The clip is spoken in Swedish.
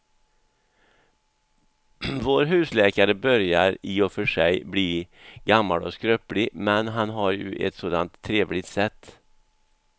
Vår husläkare börjar i och för sig bli gammal och skröplig, men han har ju ett sådant trevligt sätt!